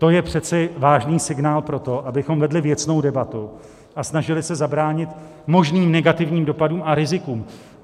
To je přece vážný signál pro to, abychom vedli věcnou debatu a snažili se zabránit možným negativním dopadům a rizikům.